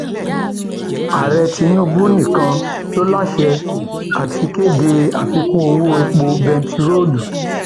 ààrẹ tinubu nìkan ló láṣẹ àti kéde àfikún owó epo bẹntiróòlù